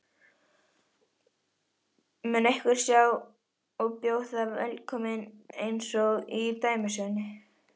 Mun einhver sjá hann og bjóða velkominn einsog í dæmisögunni?